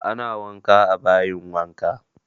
Ana wanka a bayin wanka